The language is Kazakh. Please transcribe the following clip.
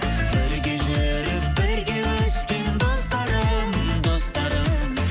бірге жүріп бірге өскен достарым достарым